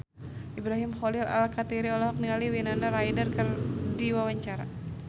Ibrahim Khalil Alkatiri olohok ningali Winona Ryder keur diwawancara